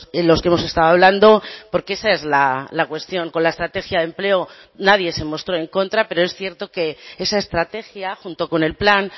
en los que hemos estado hablando porque esa es la cuestión con la estrategia de empleo nadie se mostró en contra pero es cierto que esa estrategia junto con el plan